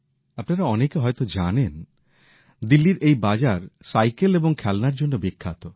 আপনারা অনেকে হয়ত জানেন দিল্লীর এই বাজার সাইকেল এবং খেলনার জন্য বিখ্যাত